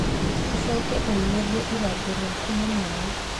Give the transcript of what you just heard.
Ũcoke ũiyũrie ithangũ rĩaku na maĩ.